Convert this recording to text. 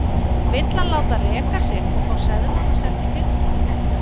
Vill hann láta reka sig og fá seðlana sem því fylgja?